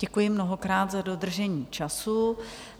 Děkuji mnohokrát za dodržení času.